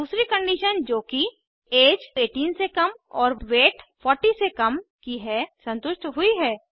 दूसरी कंडीशन जो कि ऐज 18 से कम और वेट 40 से कम की है संतुष्ट हुई है